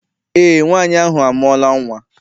Eé, nwaanyị ahụ amụọla nnwa.